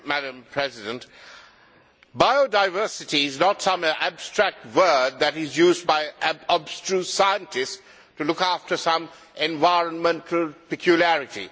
Madam President, biodiversity is not some abstract word that is used by abstruse scientists to look after some environmental peculiarity.